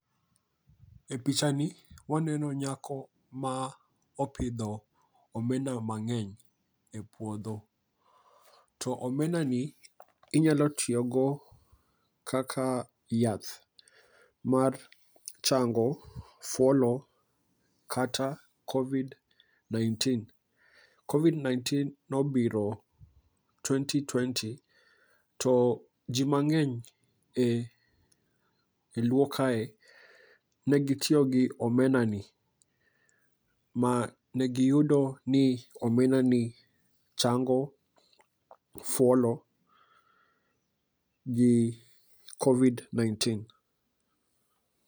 E picha ni waneno nyako ma opidho omena mang'eny e puodho. To omena ni inyalo tiyo go kaka yath mar chango fuolo kata Covid 19, Covid 19 nobiro twenty twenty. To ji mang'eny e luo kae negitiyo gi omena ni, ma ne giyudo ni omena ni chango fuolo gi Covid 19.